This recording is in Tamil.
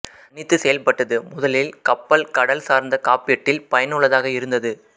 தனித்து செயல்பட்டது முதலில் கப்பல்கடல் சார்ந்த காப்பீட்டில் பயனுள்ளதாக இருந்தது